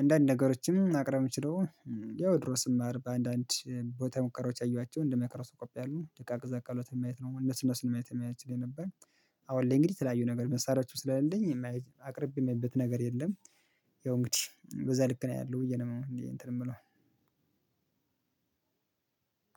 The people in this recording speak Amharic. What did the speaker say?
አንዳንድ ነገሮችም ማቅርብ የምችለው ያው ድሮ ስማር በአንዳንድ ቦታ ሙከራዎች ያየኋቸው እንደ ማይክሮስኮፕ ያሉ ደቃቅ ዘ አካላትን ማየት ነው። እነሱን እነሱን ለማየት የሚያስችል ነበር። አሁን ላይ እንግዲህ የተለያዩ ነገር መሳሪያዎችም ስላሌለኝ የማያይ አቅርቤም የሚልበት ነገር የለም። ያው እንግዲህ በዛ ልክ ነው ያለው ብዬ ነው እንትን የምለው።